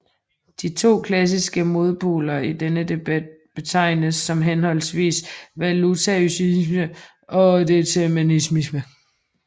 De to klassiske modpoler i denne debat betegnes som henholdsvis voluntaryisme og determinisme